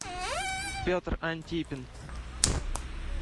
петр антипин